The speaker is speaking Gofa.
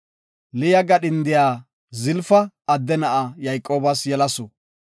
Liya gadhindiya Zalafa adde na7a Yayqoobas yelasu.